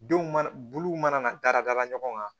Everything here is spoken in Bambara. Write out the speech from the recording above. Denw mana bulu mana da la ɲɔgɔn kan